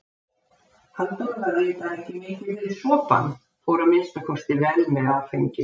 Halldór var reyndar ekki mikið fyrir sopann, fór að minnsta kosti vel með áfengi.